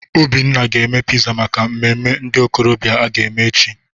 Obinna ga-eme piza maka mmemme ndị okorobịa aga eme echi.